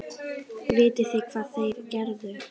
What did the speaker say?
Vitið þið hvað þeir gerðu?